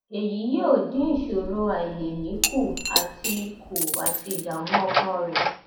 èyí yóò dín ìṣòro àìlèmí kù àti kù àti ìdààmú ọkàn rẹ